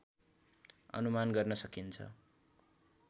अनुमान गर्न सकिन्छ